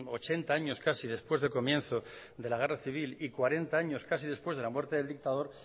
ochenta años casi después del comienzo de la guerra civil cuarenta años casi después de la muerte del dictador